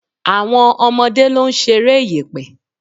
Àwọn ọmọdé ló ń ṣeré yẹ̀pẹ̀.